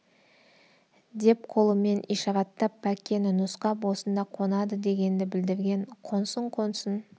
деп қолымен ишараттап бәккені нұсқап осында қонады дегенді білдірген қонсын қонсын